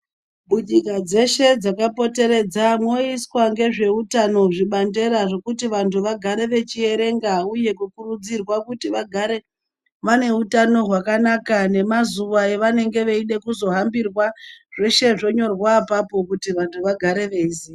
Munyika dzeshe dzakapoteredza moiswa ngezveutano zvibandera zvekuti vantu vagare vechierenga, uye kukurudzirwa kuti vagare vane utano hakanaka nemazuva avanenge veida kuzohambirwa. Zveshe zvonyorwa apapo kuti vantu vagare veiziya.